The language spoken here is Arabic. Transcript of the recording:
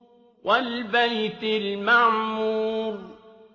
وَالْبَيْتِ الْمَعْمُورِ